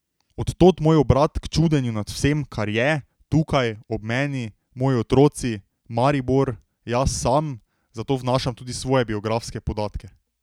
Od tod moj obrat k čudenju nad vsem, kar je, tukaj, ob meni, moji otroci, Maribor, jaz sam, zato vnašam tudi svoje biografske podatke.